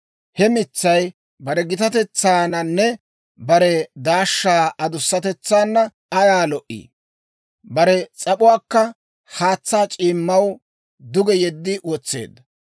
He mitsay bare gitatetsaananne bare daashshaa adussatetsaana ayaa lo"ii! Bare s'ap'uwaakka haatsaa c'iimmaw duge yeddi wotseedda.